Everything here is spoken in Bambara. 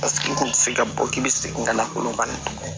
Paseke i kun tɛ se ka bɔ k'i bi segin ka na kolon bani